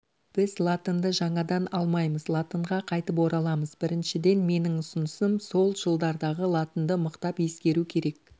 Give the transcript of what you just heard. біз латынды жаңадан алмаймыз латынға қайтып ораламыз біріншіден менің ұсынысым сол жылдардағы латынды мықтап ескеру керек